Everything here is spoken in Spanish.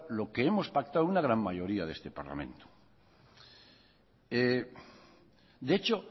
lo que hemos pactado una gran mayoría de este parlamento de hecho